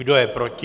Kdo je proti?